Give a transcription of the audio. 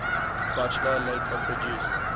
buchla later produced